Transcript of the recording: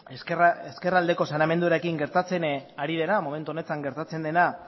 ezkerraldeko saneamenduarekin momentu honetan gertatzen dena